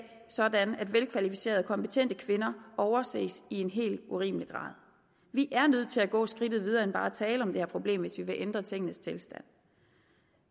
sådan at velkvalificerede kompetente kvinder overses i en helt urimelig grad vi er nødt til at gå skridtet videre end bare at tale om det her problem hvis vi vil ændre tingenes tilstand